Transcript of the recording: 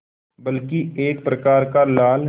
बल्कि एक प्रकार का लाल